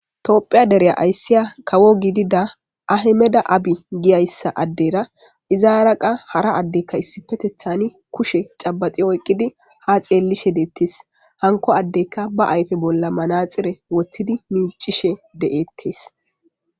toophiya dereya ayssiya kawo gidida ahemeda abi giyayssa addera izaaraqa hara addekka issipetethan kushe cabaxi oyqqidi ha xeellishe deettes hanko addeyka ba ayfe bolla manaxire wottidi miicishe de'ettes